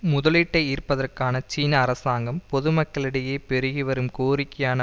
முதலீட்டை ஈர்ப்பதற்கான சீன அரசாங்கம் பொதுமக்களிடையே பெருகிவரும் கோரிக்கையான